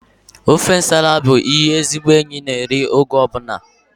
Ofe nsala bụ ihe ezigbo enyi na-eri mgbe ọbụla